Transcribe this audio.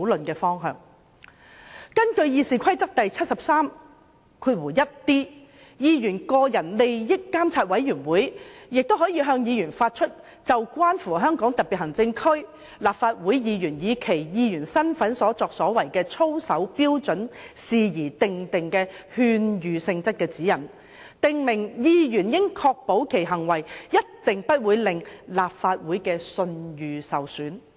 根據《議事規則》第 731d 條，議員個人利益監察委員會可就關乎香港特別行政區立法會議員以其議員身份所作行為的操守標準事宜訂定勸諭性質的指引，訂明議員應確保其行為一定不會令立法會的聲譽受損......